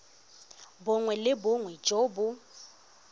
bongwe le bongwe jo bo